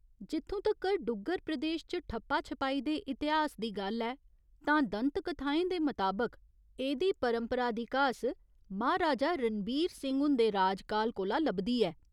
जित्थूं तगर डुग्गर प्रदेश च ठप्पा छपाई दे इतिहास दी गल्ल ऐ तां दंतकथाएं दे मताबक एह्दी परंपरा दी घास म्हाराजा रणबीर सिहं हुंदे राज काल कोला लभदी ऐ।